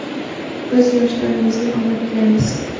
Biz yoshlarimizga omad tilaymiz.